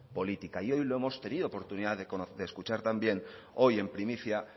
política y hoy lo hemos tenido oportunidad de escuchar también hoy en primicia